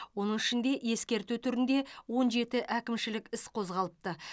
оның ішінде ескерту түрінде он жеті әкімшілік іс қозғалыпты